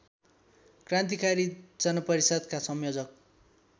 क्रान्तिकारी जनपरिषद्का संयोजक